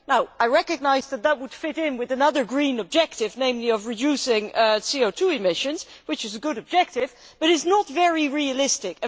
I recognise that this would fit in with another Green objective, namely that of reducing CO 2 emissions, which is a good objective, but it is not very realistic.